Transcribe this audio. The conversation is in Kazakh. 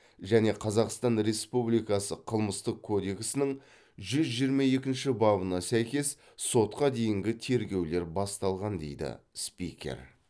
және қазақстан республикасы қылмыстық кодексінің жүз жиырма екінші бабына сәйкес сотқа дейінгі тергеулер басталған дейді спикер